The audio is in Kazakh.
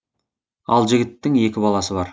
ал жігіттің екі баласы бар